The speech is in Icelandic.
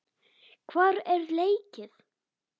Hvar er leikið?